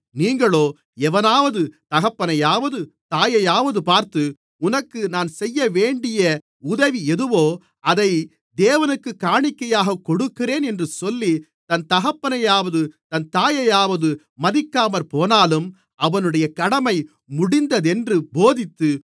நீங்களோ எவனாவது தகப்பனையாவது தாயையாவது பார்த்து உனக்கு நான் செய்யவேண்டிய உதவி எதுவோ அதை தேவனுக்குக் காணிக்கையாகக் கொடுக்கிறேன் என்று சொல்லி தன் தகப்பனையாவது தன் தாயையாவது மதிக்காமற்போனாலும் அவனுடைய கடமை முடிந்ததென்று போதித்து